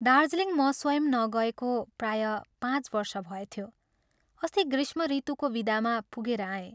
दार्जीलिङ म स्वयं नगएको प्रायः पाँच वर्ष भएथ्यो, अस्ति ग्रीष्मऋतुको विदामा पुगेर आएँ।